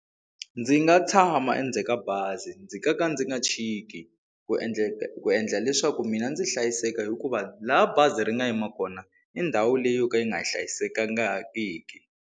Ndzi nga tshama endzeni ka bazi ndzi nga ka ndzi nga chiki ku endleka ku endla leswaku mina ndzi hlayiseka hikuva laha bazi ri nga yima kona i ndhawu leyi yo ka yi nga hlayisekangiki.